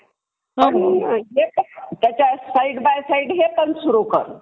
त्याच्या side by side हे पण सुरू कर.